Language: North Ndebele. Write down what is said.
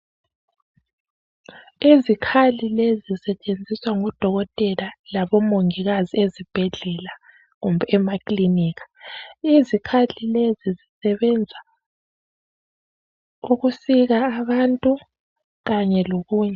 Izikhali lezi zisetshenziswa ngudokotela labomongikazi ezibhedlela kumbe emaklinika. Izikhali lezi zisebenza ukusika abantu kanye lokunye.